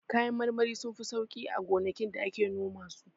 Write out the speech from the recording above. Kayan marmari sunfi sauƙi a gonakin da ake noma su.